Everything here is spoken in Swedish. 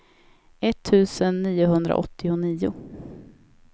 etttusen niohundraåttionio